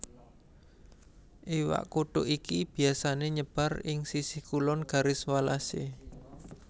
Iwak kutuk iki biyasané nyebar ing sisih kulon Garis Wallace